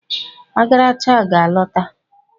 Ogaracha ga a lota.